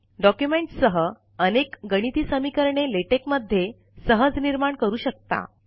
documents सह अनेक गणिती समीकरणे लेटेक मध्ये सहज निर्माण करू शकता